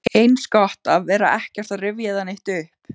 Eins gott að vera ekkert að rifja það neitt upp.